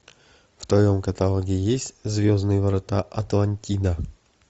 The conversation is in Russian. в твоем каталоге есть звездные врата атлантида